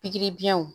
Pikiri biɲɛw